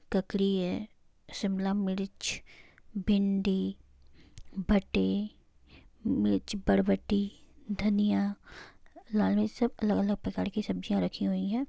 ककड़ी है शिमला मिर्च भिंडी भट्टे मिर्च बड्ड बत्ती धनिया लाल मिर्च सब अलग-अलग प्रकार की सब्जियां रखी हुई है।